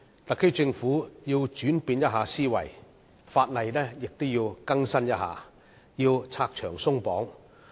特區政府須轉變思維，亦要更新法例、拆牆鬆綁。